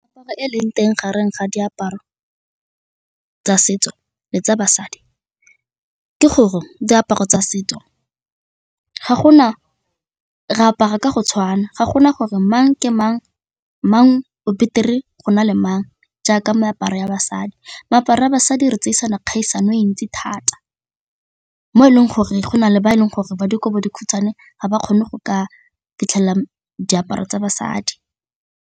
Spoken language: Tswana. Meaparo e leng teng gareng ga diaparo tsa setso le tsa basadi ke gore diaparo tsa setso re apara ka go tshwana ga gona gore mang ke mang, mang o betere go na le mang jaaka meaparo ya basadi, moaparo wa basadi re tsere kgaisano e ntsi thata mo e leng gore go na le ba e leng gore ba dikobo di khutshwane ga ba kgone go ka fitlhelela diaparo tsa basadi.